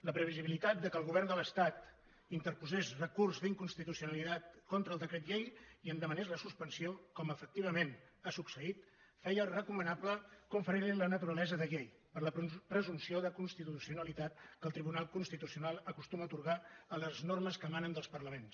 la previsió que el govern de l’estat interposés recurs d’inconstitucionalitat contra el decret llei i en demanés la suspensió com efectivament ha succeït feia recomanable conferir li la naturalesa de llei per la presumpció de constitucionalitat que el tribunal constitucional acostuma a atorgar a les normes que emanen dels parlaments